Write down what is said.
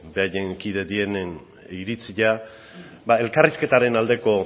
beraien kide direnen iritzia ba elkarrizketaren aldeko